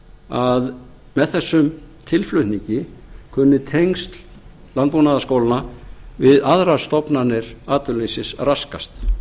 að með þessum tilflutningi kunni tengsl landbúnaðarskólanna við aðrar stofnanir atvinnulífsins raskast